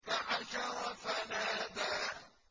فَحَشَرَ فَنَادَىٰ